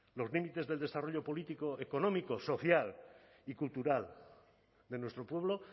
los límites del desarrollo político económico social y cultural de nuestro pueblo